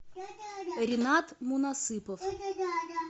ринат мунасыпов